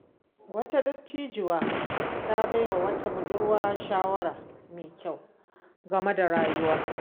Wata dattijuwa ta bai wa wata budurwa shawara mai kyau game da rayuwa.